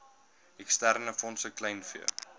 eksterne fondse kleinvee